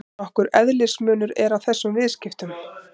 Nokkur eðlismunur er á þessum viðskiptum.